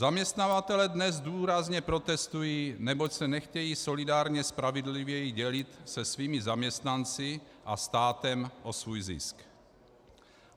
Zaměstnavatelé dnes důrazně protestují, neboť se nechtějí solidárně spravedlivěji dělit se svými zaměstnanci a státem o svůj zisk.